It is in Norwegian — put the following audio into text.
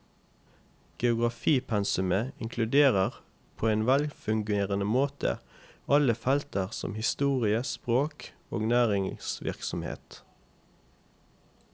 Geografipensumet inkluderer på en velfungerende måte andre felter som historie, språk og næringsvirksomhet.